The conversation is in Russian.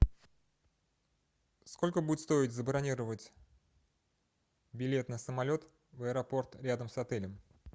сколько будет стоить забронировать билет на самолет в аэропорт рядом с отелем